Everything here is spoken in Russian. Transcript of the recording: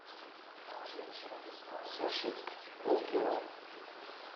суши полкило